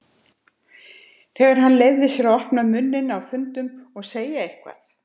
Þegar hann leyfir sér að opna munninn á fundum og segja eitthvað.